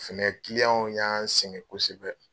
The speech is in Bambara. Fɛnɛ y'an sɛngɛ kosɛbɛ.